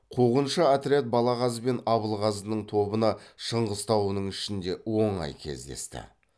қуғыншы отряд балағаз бен абылғазының тобына шыңғыс тауының ішінде оңай кездесті